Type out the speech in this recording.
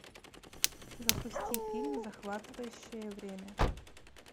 запусти фильм захватывающее время